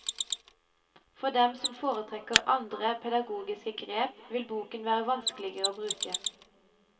For dem som foretrekker andre pedagogiske grep, vil boken være vanskeligere å bruke.